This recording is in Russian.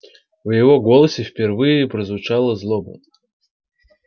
в его голосе впервые прозвучала злоба